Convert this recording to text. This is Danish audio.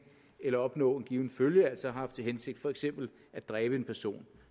eller opnå en given følge altså har haft til hensigt for eksempel at dræbe en person